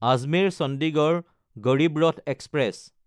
Ajmer-Chandigarh Garib Rath express